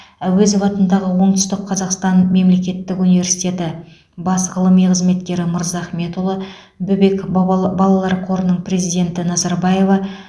әуезов атындағы оңтүстік қазақстан мемлекеттік университеті бас ғылыми қызметкері мырзахметұлы бөбек баба балалар қорының президенті назарбаева